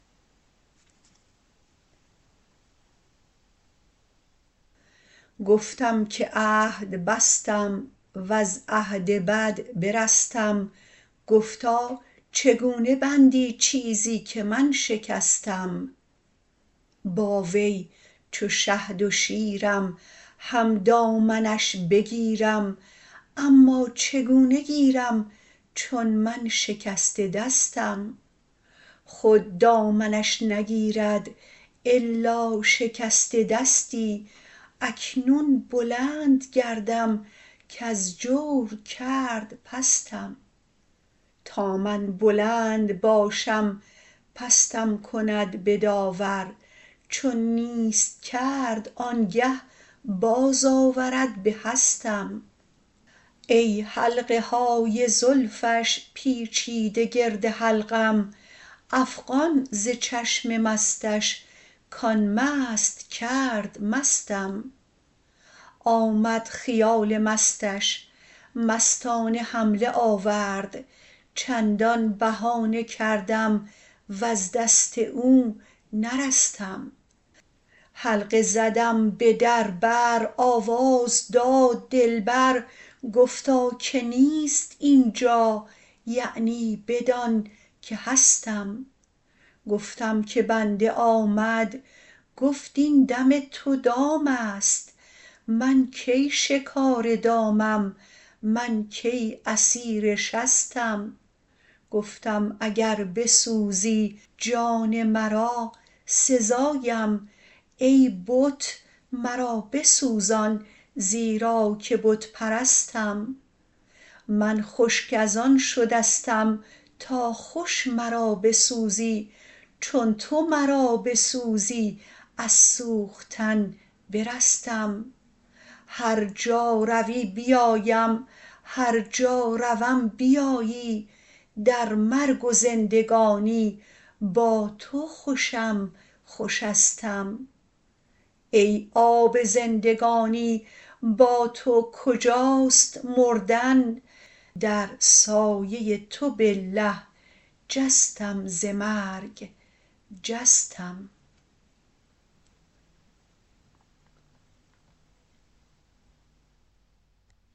گفتم که عهد بستم وز عهد بد برستم گفتا چگونه بندی چیزی که من شکستم با وی چو شهد و شیرم هم دامنش بگیرم اما چگونه گیرم چون من شکسته دستم خود دامنش نگیرد الا شکسته دستی اکنون بلند گردم کز جور کرد پستم تا من بلند باشم پستم کند به داور چون نیست کرد آنگه بازآورد به هستم ای حلقه های زلفش پیچیده گرد حلقم افغان ز چشم مستش کان مست کرد مستم آمد خیال مستش مستانه حمله آورد چندان بهانه کردم وز دست او نرستم حلقه زدم به در بر آواز داد دلبر گفتا که نیست این جا یعنی بدان که هستم گفتم که بنده آمد گفت این دم تو دام است من کی شکار دامم من کی اسیر شستم گفتم اگر بسوزی جان مرا سزایم ای بت مرا بسوزان زیرا که بت پرستم من خشک از آن شدستم تا خوش مرا بسوزی چون تو مرا بسوزی از سوختن برستم هر جا روی بیایم هر جا روم بیایی در مرگ و زندگانی با تو خوشم خوشستم ای آب زندگانی با تو کجاست مردن در سایه تو بالله جستم ز مرگ جستم